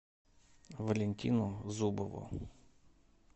валентину зубову